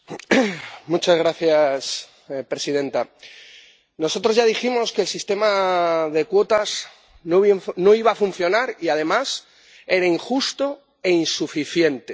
Señora presidenta, nosotros ya dijimos que el sistema de cuotas no iba a funcionar y además era injusto e insuficiente.